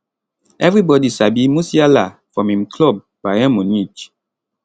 evribodi sabi musiala from im club bayern munich